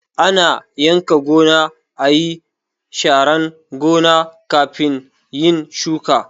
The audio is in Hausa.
Ana yanka gona, ayi sharan gona kafin yin shuka